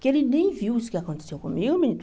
Que ele nem viu isso que aconteceu comigo, menina.